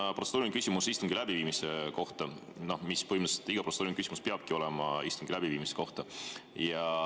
Mul on protseduuriline küsimus istungi läbiviimise kohta, põhimõtteliselt iga protseduuriline küsimus peabki olema istungi läbiviimise kohta.